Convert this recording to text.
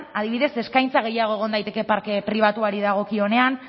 adibidez eskaintza gehiago egon daiteke parke pribatuari dagokionean